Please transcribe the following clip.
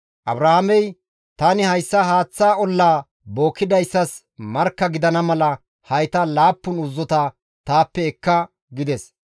Abrahaamey, «Tani hayssa haaththa ollaa bookkidayssas markka gidana mala hayta laappun uzzota taappe ekka» gides.